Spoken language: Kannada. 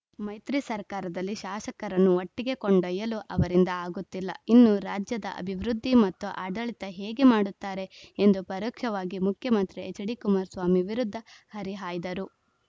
ಮೈತ್ರಿ ಸರ್ಕಾರದಲ್ಲಿ ಶಾಸಕರನ್ನು ಒಟ್ಟಿಗೆ ಕೊಂಡೊಯ್ಯಲು ಅವರಿಂದ ಆಗುತ್ತಿಲ್ಲ ಇನ್ನು ರಾಜ್ಯದ ಅಭಿವೃದ್ಧಿ ಮತ್ತು ಆಡಳಿತ ಹೇಗೆ ಮಾಡುತ್ತಾರೆ ಎಂದು ಪರೋಕ್ಷವಾಗಿ ಮುಖ್ಯಮಂತ್ರಿ ಎಚ್‌ಡಿಕುಮಾರಸ್ವಾಮಿ ವಿರುದ್ಧ ಹರಿಹಾಯ್ದರು